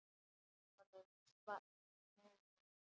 Mönnum svall móður.